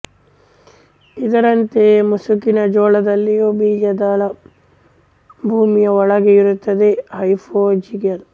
ಇದರಂತೆಯೆ ಮುಸುಕಿನ ಜೋಳದಲ್ಲಿಯೂ ಬೀಜದಳ ಭೂಮಿಯ ಒಳಗೇ ಇರುತ್ತದೆ ಹೈಪೊಜಿಯಲ್